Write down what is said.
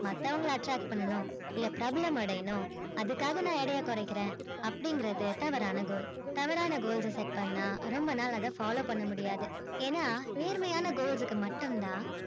மத்தவங்கள attract பண்ணனும் னு இல்ல பிரபலம் அடையணும் அதுக்காக நா எடைய குறைக்குரேன் அப்பிடிங்குறது தவறான goal தவறான goals ஆ set பன்னா ரொம்ப நாள் அதை follow பன்னமுடியாது ஏன்னா நேர்மையான goals க்கு மட்டும் தான்